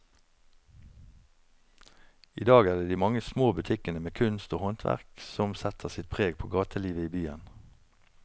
I dag er det de mange små butikkene med kunst og håndverk som setter sitt preg på gatelivet i byen.